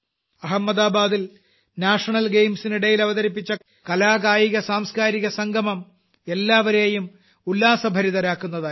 അഹമ്മദാബാദിൽ national games നിടയിൽ അവതരിപ്പിച്ച കല കായിക സാംസ്കാരിക സംഗമം എല്ലാവരേയും ഉല്ലാസഭരിതരാക്കുന്നതായിരുന്നു